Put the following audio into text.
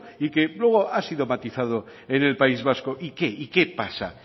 y que no ha sido matizado en el país vasco y qué y qué pasa